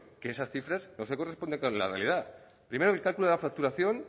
que esas cifras no se corresponden con la realidad primero la facturación